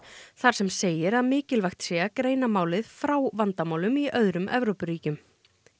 þar sem segir að mikilvægt sé að greina málið frá vandamálum í öðrum Evrópuríkjum